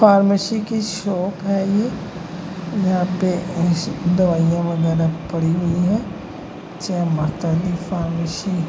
Pharmacy की shop है ये। यहाँ पे दवाइयाँ वगैरह पड़ी हुई हैं। जय माता दी फार्मेसी --